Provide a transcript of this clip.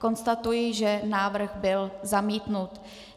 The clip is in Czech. Konstatuji, že návrh byl zamítnut.